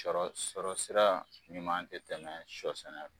Sɔrɔ sira ɲuman tɛ tɛmɛ sɔ sɛnɛ kan